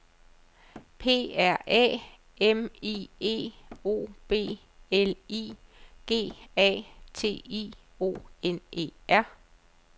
P R Æ M I E O B L I G A T I O N E R